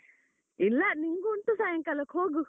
ಇಲ್ಲ ನಿಂಗು ಉಂಟು ಸಾಯಂಕಾಲಕ್ ಹೋಗು.